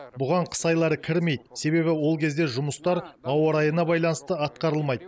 бұған қыс айлары кірмейді себебі ол кезде жұмыстар ауа райына байланысты атқарылмайды